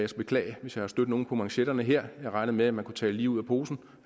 beklage hvis jeg har stødt nogen på manchetterne her jeg regnede med at man kunne tale lige ud af posen